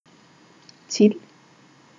Cilj?